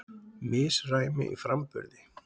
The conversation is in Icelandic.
Misræmi í framburði